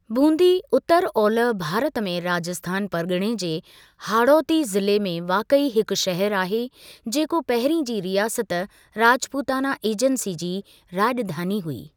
बूंदी उत्तर ओलह भारत में राजस्थान परिगि॒णे जे हाड़ोती ज़िले में वाकई हिकु शहर आहे, जेको पहिरीं जी रियासत राजपूताना एजेंसी जी राज॒धानी हुई।